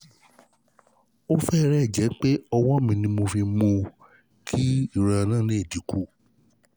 Ó fẹ́rẹ̀ẹ́ jẹ́ pé ọwọ́ mi ni mo fi mú un kí ìrora náà lè dínkù